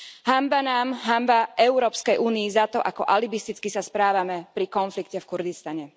Hanba nám, hanba Európskej únii za to, ako alibisticky sa správame pri konflikte v Kurdistane.